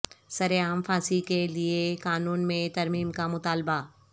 سرعام پھانسی کے لیے قانون میں ترمیم کا مطالبہ